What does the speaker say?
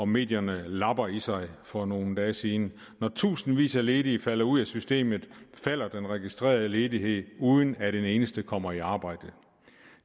medierne lappede i sig for nogle dage siden når tusindvis af ledige falder ud af systemet falder den registrerede ledighed uden at en eneste kommer i arbejde